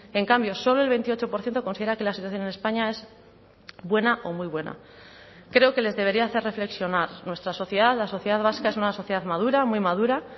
en cambio solo el veintiocho por ciento considera que la situación en españa es buena o muy buena creo que les debería hacer reflexionar nuestra sociedad la sociedad vasca es una sociedad madura muy madura